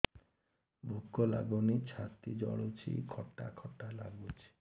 ଭୁକ ଲାଗୁନି ଛାତି ଜଳୁଛି ଖଟା ଖଟା ଲାଗୁଛି